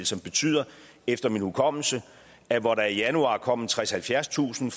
som betyder efter min hukommelse at hvor der i januar kom tredstusind